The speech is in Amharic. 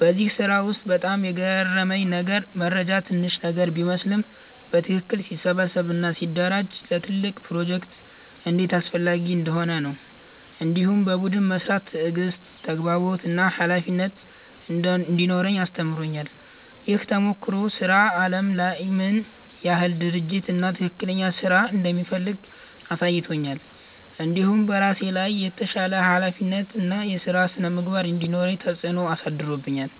በዚህ ስራ ውስጥ በጣም የገረመኝ ነገር መረጃ ትንሽ ነገር ቢመስልም በትክክል ሲሰበሰብ እና ሲደራጀ ለትልቅ ፕሮጀክት እንዴት አስፈላጊ እንደሚሆን ነው። እንዲሁም በቡድን መስራት ትዕግሥት፣ ተግባቦት እና ኃላፊነት እንዲኖረኝ አስተምሮኛል። ይህ ተሞክሮ ስራ አለም ምን ያህል ድርጅት እና ትክክለኛ ስራ እንደሚፈልግ አሳይቶኛል። እንዲሁም በራሴ ላይ የተሻለ ኃላፊነት እና የስራ ስነ-ምግባር እንዲኖረኝ ተጽዕኖ አሳድሮብኛል።